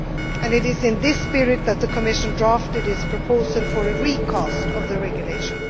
objectives, and it is in this spirit that the Commission drafted its proposal for a recast of the